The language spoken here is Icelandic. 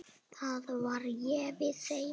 Þá verð ég við þeim.